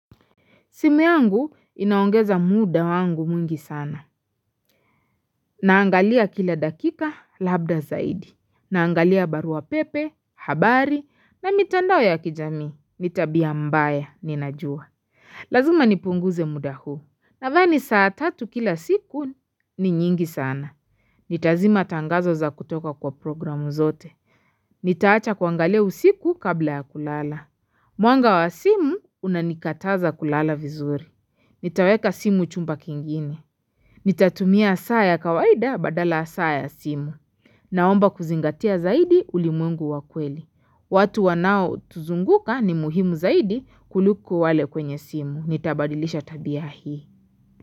Simu yangu inaongeza muda wangu mwingi sana. Naangalia kila dakika labda zaidi. Naangalia barua pepe, habari na mitandao ya kijami. Ni tabia mbaya, ninajua. Lazima nipunguze muda huu. Nadhani saa tatu kila siku ni nyingi sana. Nitazima tangazo za kutoka kwa programu zote. Nitaacha kuangalia usiku kabla ya kulala. Mwanga wa simu unanikataza kulala vizuri. Nitaweka simu chumba kingine. Nitatumia saa ya kawaida badala saa ya simu. Naomba kuzingatia zaidi ulimwengu wa kweli. Watu wanaotuzunguka ni muhimu zaidi kuliko wale kwenye simu. Nitabadilisha tabia hii.